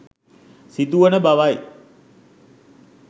සිදුවන බවයි.